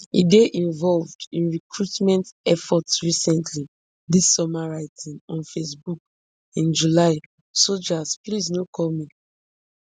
e dey involved in recruitment effort recently dis summer writing on facebook in july soldiers please no call me